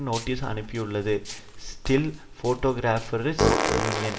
notice அனுப்பியுள்ளது still photographers union